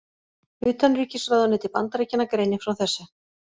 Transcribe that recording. Utanríkisráðuneyti Bandaríkjanna greinir frá þessu